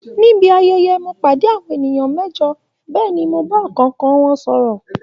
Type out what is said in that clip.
Nibi ayẹyẹ, mo pàdé àwọn ènìyàn mẹ́jọ bẹ́ẹ̀ ni mo bá ọ̀kọ̀ọ̀kan wọn sọ̀rọ̀